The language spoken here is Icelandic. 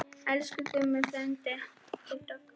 Elsku Gummi frændi minn.